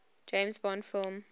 james bond film